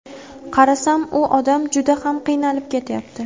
Qarasam, u odam juda ham qiynalib ketyapti.